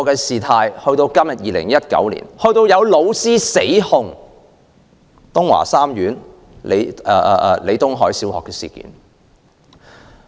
事件在2017年發生後，今年有老師死控東華三院李東海小學......